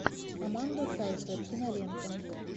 аманда сейфрид кинолента